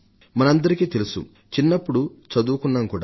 మనందరికీ తెలుసు చిన్నప్పుడు చదువుకున్నాం కూడా